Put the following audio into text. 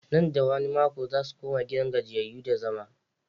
Nan da wani mako za su koma gidan gajiyayyu da zama.